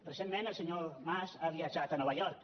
recentment el senyor mas ha viatjat a nova york